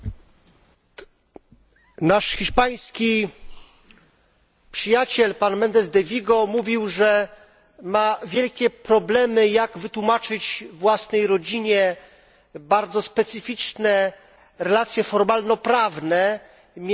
Nasz hiszpański przyjaciel Méndez de Vigo mówił, że ma wielkie problemy z wytłumaczeniem własnej rodzinie bardzo specyficznych relacji formalno prawnych między organami Unii Europejskiej.